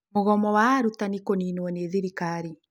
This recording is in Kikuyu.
Mũgomo wa arutanĩ kũnĩnwo nĩ thirikari.